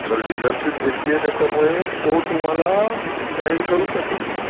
तर डिलरशिप घेतलिय तरतो तुम्हाला गाइड करू शकले.